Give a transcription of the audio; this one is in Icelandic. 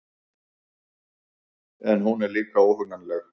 En hún er líka óhugnanleg.